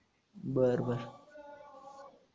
बर बर